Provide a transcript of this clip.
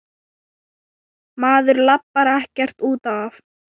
Maður labbar ekkert út af.